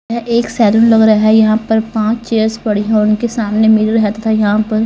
यह एक सैलून लग रहा है यहां पर पांच चेयर्स पड़ी है उनके सामने मिरर है तथा यहां पर--